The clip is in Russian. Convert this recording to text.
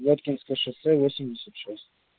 гатчинское шоссе